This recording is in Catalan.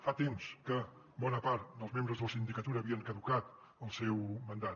fa temps que bona part dels membres de la sindicatura tenien caducat el seu mandat